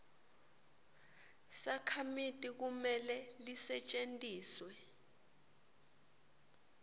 sakhamiti kumele lisetjentiswe